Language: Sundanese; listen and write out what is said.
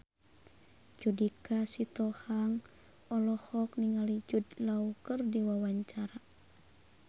Judika Sitohang olohok ningali Jude Law keur diwawancara